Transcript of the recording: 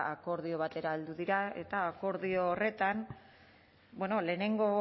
ba akordio batera heldu dira eta akordio horretan bueno lehenengo